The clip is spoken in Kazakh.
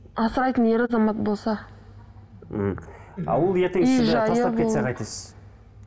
асырайтын ер азамат болса